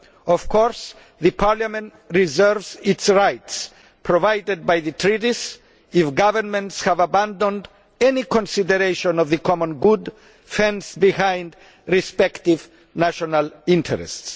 Of course, Parliament reserves this right, provided for in the Treaties, if governments have abandoned any consideration of the common good fenced behind respective national interests.